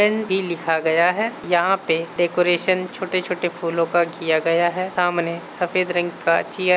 NE. लिखा गया है यहाँ पे डेकरैशन छोटे-छोटे फूलों का किया गया है सामने सफेद रंग का चेयर --